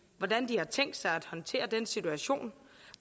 hvordan de har tænkt sig at håndtere den situation